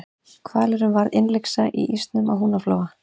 hvalurinn varð innlyksa í ísnum á húnaflóa